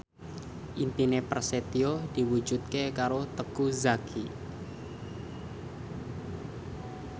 impine Prasetyo diwujudke karo Teuku Zacky